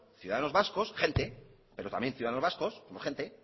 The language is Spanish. ciudadanos vascos gente pero también ciudadanos vascos somos gente